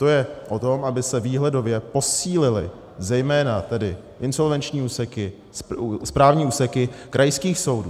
To je o tom, aby se výhledově posílily zejména tedy insolvenční úseky, správní úseky krajských soudů.